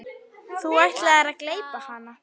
Þú ætlaðir að gleypa hana.